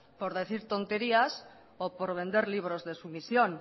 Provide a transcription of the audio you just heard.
por decir tonterías o por vender libros de sumisión